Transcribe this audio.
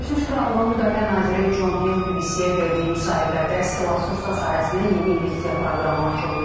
Birləşmiş Krallığın müdafiə naziri Con Hill BBC-yə verdiyi müsahibədə silah-sursat sahəsinə yeni investisiya proqramını açıqlayıb.